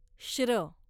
श्र